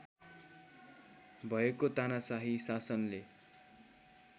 भएको तानाशाही शासनले